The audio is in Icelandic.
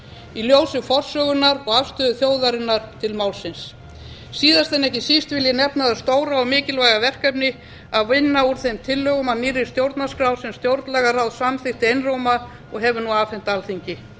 í ljósi forsögunnar og afstöðu þjóðarinnar til málsins síðast en ekki síst vil ég nefna það stóra og mikilvæga verkefni að vinna úr þeim tillögum að nýrri stjórnarskrá sem stjórnlagaráð samþykkti einróma og hefur nú afhent alþingi